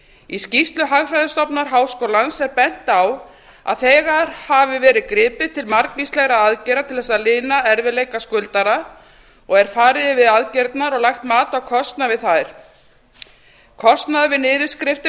í skýrslu hagfræðistofnunar háskólans er bent á að þegar hafi verið gripið til margvíslegra aðgerða til þess að lina erfiðleika skuldara og er farið yfir aðgerðirnar og lagt mat á kostnað við þær kostnaður við niðurskriftir